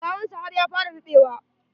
Gawan sa har ya fara ruɓewa.